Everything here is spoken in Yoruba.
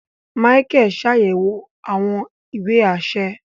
Micheal ṣayẹwo awọn ìwé aṣẹ